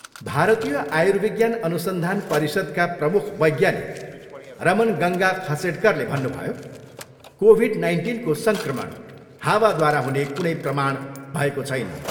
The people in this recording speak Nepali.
भारतीय आयुर्विज्ञान अनुसन्धान परिषद्का प्रमुख वैज्ञानिक रमन गङ्गा खसेडकरले भन्नुभयो, कोभिड नाइन्टिनको सङ्क्रमण हावाद्वारा हुने कुनै प्रमाण भएको छैन।